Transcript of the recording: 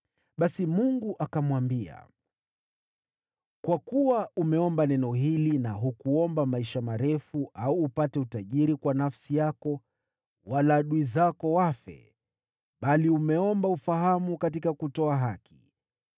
Basi Mungu akamwambia, “Kwa kuwa umeomba neno hili na hukuomba maisha marefu au upate utajiri kwa nafsi yako, wala adui zako wafe, bali umeomba ufahamu katika kutoa haki,